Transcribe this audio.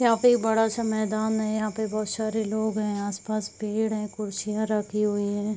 यहाँ पे एक बड़ा सा मैदान है। यहाँ पे बहोत सारे लोग हैं। आसपास पेड़ हैं। कुर्सियां रखी हुई हैं।